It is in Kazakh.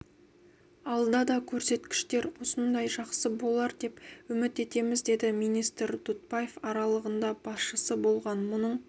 алда да көрсеткіштер осындай жақсы болар деп үміт етеміз деді министр дұтбаев аралығында басшысы болған мұның